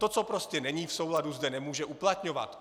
To, co prostě není v souladu, zde nemůže uplatňovat.